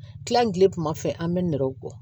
Kilan kilen kuma fɛ an bɛ nɛrɛw bɔ